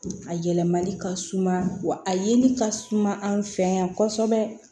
A yɛlɛmali ka suma wa a yeli ka suma anw fɛ yan kosɛbɛ